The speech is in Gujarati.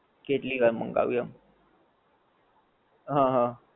કેટલી વાર મંગાયું આમ, હા હા